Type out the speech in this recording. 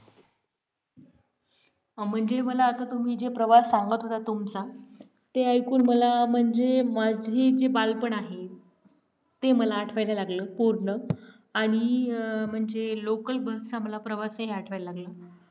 म्हणजे मला आता तुम्ही जे प्रवास सांगत होता तुमचा ते ऐकून मला म्हणजे माझी जी बालपण आहे ते मला आठवायला लागलं पूर्ण आणि म्हणजे local bus आम्हाला प्रवास हे आठवायला लागलं